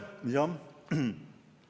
Aitäh!